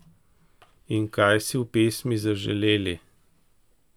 In kaj si v pesmi zaželeli?